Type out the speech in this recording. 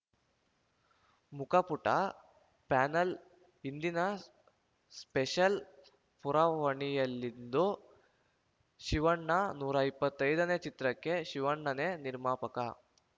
ಮುಖಪುಟ panel ಇಂದಿನ special ಪುರವಣಿಯಲ್ಲಿಂದು ಶಿವಣ್ಣ ನೂರ ಇಪ್ಪತ್ತೈದನೇ ಚಿತ್ರಕ್ಕೆ ಶಿವಣ್ಣನೇ ನಿರ್ಮಾಪಕ